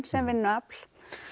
sem vinnuafl